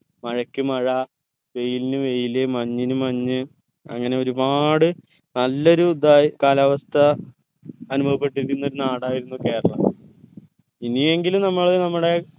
മഴയ്ക്ക് മഴ വെയിലിന് വെയിൽ മഞ്ഞിന് മഞ്ഞ് അങ്ങനെ ഒരുപാട് നല്ല ഒരു ഇതായി കാലാവസ്ഥ അനുഭവപ്പെട്ടിരുന്ന നാടായിരുന്നു കേരളം ഇനിയെങ്കിലും നമ്മള് നമ്മുടെ